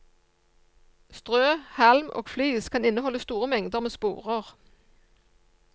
Strø, halm og flis kan inneholde store mengder med sporer.